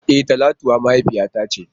E! Talatuwa mahaifiyata ce.